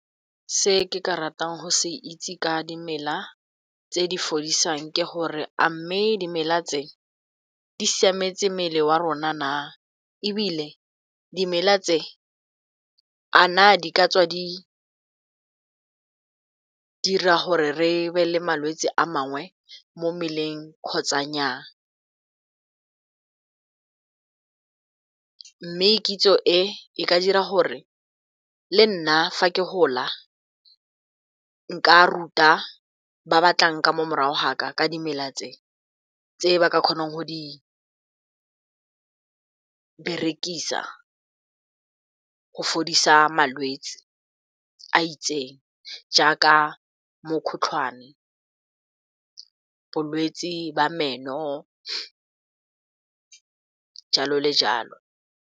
Se ke ka ratang go se itse ka dimela tse di fodisang ke gore, a mme dimela tse di siametse mmele wa rona na? E bile, dimela tse a na di ka tswa di dira gore re be le malwetse a mangwe mo mmeleng kgotsa nnyaa? Mme kitso e ka dira gore le nna, fa ke gola, nka ruta ba ba tlang ka mo morago ga ka ka dimela tse, tse ba ka kgonang go di berekisa go fodisa malwetse a itseng, jaaka mokgotlhwane, bolwetse ba meno, jalo le jalo.